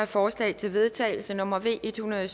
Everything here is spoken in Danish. forslag til vedtagelse nummer v en hundrede